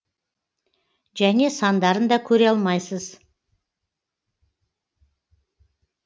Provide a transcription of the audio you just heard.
және сандарын да көре алмайсыз